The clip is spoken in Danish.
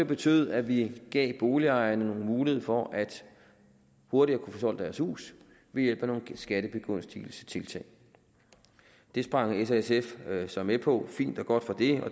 betød at vi gav boligejerne mulighed for hurtigere at kunne få solgt deres hus ved hjælp af nogle skattebegunstigelsestiltag det sprang s og sf så med på og det fint og godt og det